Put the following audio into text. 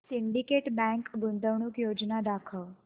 Syndicate Bank गुंतवणूक योजना दाखव